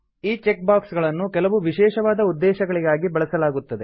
ಈ check box ಗಳನ್ನು ಕೆಲವು ವಿಶೇಷವಾದ ಉದ್ದೇಶಗಳಿಗಾಗಿ ಬಳಸಲಾಗುತ್ತದೆ